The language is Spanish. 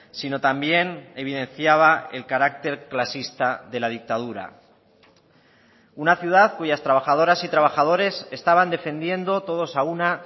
si no también evidenciaba el carácter clasista de la dictadura una ciudad cuyas trabajadoras y trabajadores estaban defendiendo todos a una